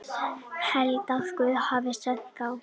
Held að Guð hafi sent þá.